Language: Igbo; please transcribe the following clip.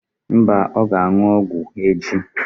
Mba, ọ ga-aṅụ ọgwụ echi.